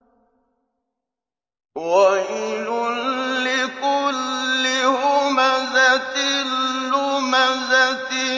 وَيْلٌ لِّكُلِّ هُمَزَةٍ لُّمَزَةٍ